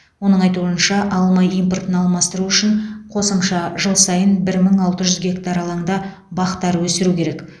оның айтуынша алма импортын алмастыру үшін қосымша жыл сайын мың алты жүз гектар алаңда бақтар өсіру керек